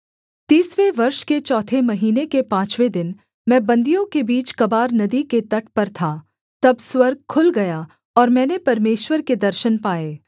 तीसवें वर्ष के चौथे महीने के पाँचवें दिन मैं बन्दियों के बीच कबार नदी के तट पर था तब स्वर्ग खुल गया और मैंने परमेश्वर के दर्शन पाए